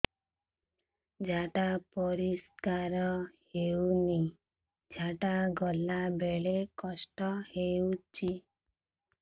ଝାଡା ପରିସ୍କାର ହେଉନି ଝାଡ଼ା ଗଲା ବେଳେ କଷ୍ଟ ହେଉଚି